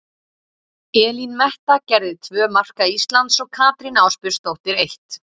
Elín Metta gerði tvö marka Íslands og Katrín Ásbjörnsdóttir eitt.